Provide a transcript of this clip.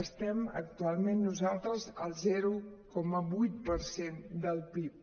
estem actualment nosaltres en el zero coma vuit per cent del pib